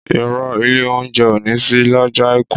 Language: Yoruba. Ìrõ, ìlé ounjé ò ní sí lõjõ aiku